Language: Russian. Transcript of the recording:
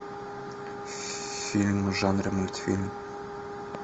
фильм в жанре мультфильм